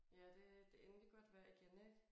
Ja det det endelig godt vejr igen ik